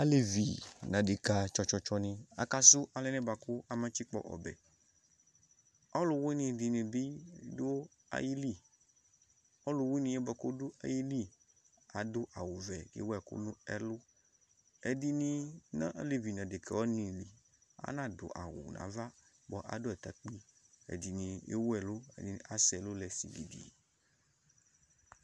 alevi n'adeka tsɔ tsɔ tsɔ ni aka sò anɛ boa kò aba tsikpɔ ɔbɛ ɔlòwini dini bi do ayili ɔlòwiniɛ boa kò ɔdo ayili ado awu vɛ k'ewu ɛkò no ɛlu ɛdini n'alevi n'adeka wani li ana do awu n'ava boa ado atakpi ɛdini ewu ɛlu ɛdini asɛ ɛlu lɛ sigidi